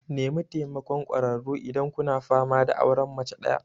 Nemi taimakon ƙwararru idan kuna fama da auren mace ɗaya.